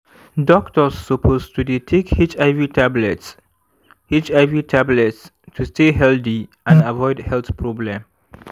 doctors suppose to dey take hiv tablets hiv tablets to stay healthy and avoid health problem